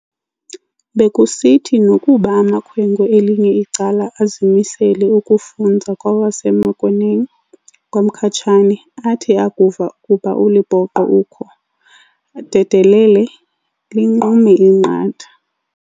Bekusithi nokuba amakhwenkwe elinye icala azimisele ukufunza kwawaseMenkhoeneng kwaMkhatshane, athi akuva ukuba uLepoqo ukho, ee dedelele, linqume inqatha.